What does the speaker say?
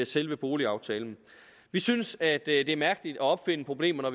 selve boligaftalen vi synes at det er mærkeligt at opfinde problemer